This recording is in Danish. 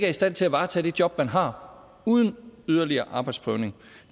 i stand til at varetage det job man har uden yderligere arbejdsprøvning